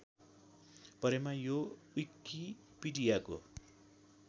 परेमा यो विकिपीडियाको